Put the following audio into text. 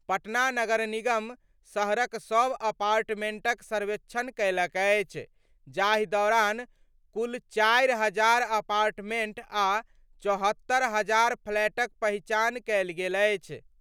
पटना नगर निगम शहरक सभ अपार्टमेंटक सर्वेक्षण कयलक अछि, जाहि दौरान कुल चारि हजार अपार्टमेंट आ 74हजार फ्लैटक पहिचान कयल गेल अछि।